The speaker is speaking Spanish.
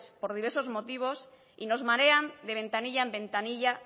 por diversos motivos y nos marean de ventanilla en ventanilla